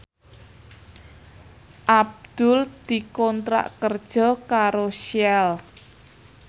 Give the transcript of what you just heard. Abdul dikontrak kerja karo Shell